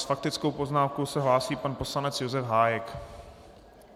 S faktickou poznámkou se hlásí pan poslanec Josef Hájek.